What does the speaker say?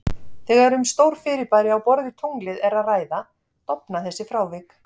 Þegar um stór fyrirbæri á borð við tunglið er að ræða, dofna þessi frávik.